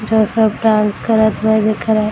यह सब डांस कर दिख रहे --